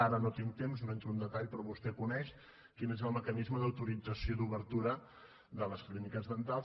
ara no tinc temps no hi entro en detall però vostè coneix quin és el mecanisme d’autorització d’obertura de les clíniques dentals